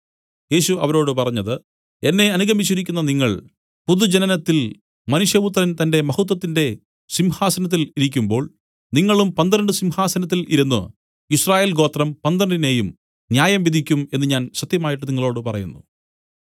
യേശു അവരോട് പറഞ്ഞത് എന്നെ അനുഗമിച്ചിരിക്കുന്ന നിങ്ങൾ പുതുജനനത്തിൽ മനുഷ്യപുത്രൻ തന്റെ മഹത്വത്തിന്റെ സിംഹാസനത്തിൽ ഇരിക്കുമ്പോൾ നിങ്ങളും പന്ത്രണ്ട് സിംഹാസനത്തിൽ ഇരുന്നു യിസ്രായേൽ ഗോത്രം പന്ത്രണ്ടിനേയും ന്യായംവിധിക്കും എന്നു ഞാൻ സത്യമായിട്ട് നിങ്ങളോടു പറയുന്നു